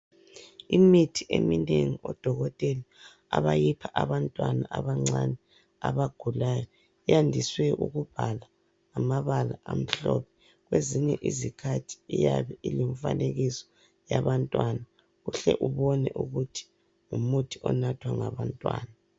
Imithi eminengi odokotela abayipha abantwana abancane abagulayo yandiswe ukubhala ngamabala amhlophe kwezinye izikhathi iyabe ilomfanekiso yabantwana uhle ubone ukuthi ngumuthi onathwa ngabantwana.